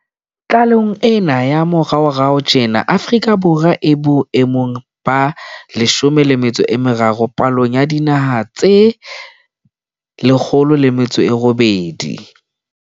Tlalehong ena ya moraorao tjena Afrika Borwa e bo emong ba 30 palong ya dinaha tse 108.